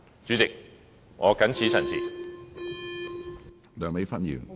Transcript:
主席，我謹此陳辭。